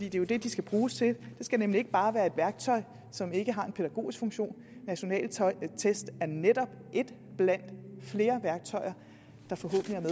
jo det de skal bruges til det skal nemlig ikke bare være et værktøj som ikke har en pædagogisk funktion nationale test er netop et blandt flere værktøjer